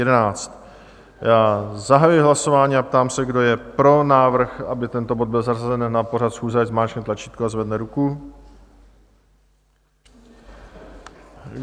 Já zahajuji hlasování a ptám se, kdo je pro návrh, aby tento bod byl zařazen na pořad schůze, ať zmáčkne tlačítko a zvedne ruku.